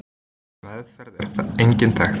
Meðferð er engin þekkt.